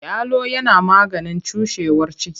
Yalo yana maganin cushewar ciki.